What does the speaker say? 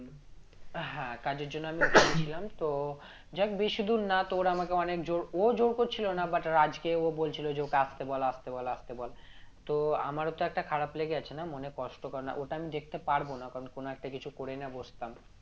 হ্যাঁ কাজের জন্য আমি ছিলাম তো যাইহোক বেশি দূর না তো ওরা আমাকে অনেক জোর ও জোর করছিল না but রাজকে ও বলছিল যে ওকে আসতে বল আসতে বল আসতে বল তো আমারও তো একটা খারাপ লেগে আছে না মনে কষ্ট কারণ ওটা আমি দেখতে পারবো না কারন কোন একটা কিছু করে নিয়ে বসতাম